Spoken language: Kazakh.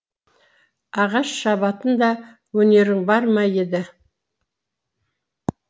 ағаш шабатын да өнерің бар ма еді